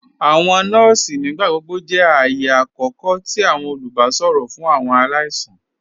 Awọn nọọ̀sì nígbàgbọ̀gbọ̀ jẹ́ ààyẹ̀ àkókò tì olùbàṣọ̀rọ̀ fún awọn aláìsàn.